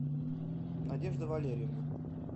надежда валерьевна